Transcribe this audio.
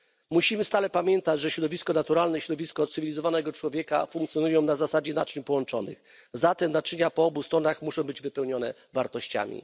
Musimy stale pamiętać, że środowisko naturalne i środowisko cywilizowanego człowieka funkcjonują na zasadzie naczyń połączonych, w związku z czym naczynia po obu stronach muszą być wypełnione wartościami.